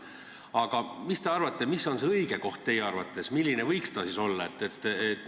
Aga mis te arvate, mis see õige koht teie arvates võiks olla?